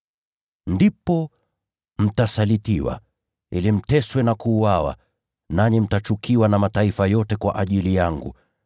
“Ndipo mtasalitiwa, ili mteswe na kuuawa, nanyi mtachukiwa na mataifa yote kwa ajili yangu.